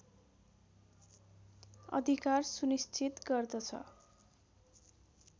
अधिकार सुनिश्चित गर्दछ